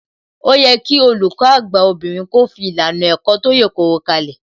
Ó yẹ kí Olùkọ́ àgbà obìnrin kó fi ìlànà ẹ̀kọ́ tó yèkoro kalẹ̀